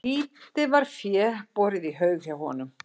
Lítið var fé borið í haug hjá honum.